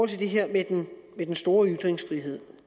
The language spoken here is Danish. det her med den store ytringsfrihed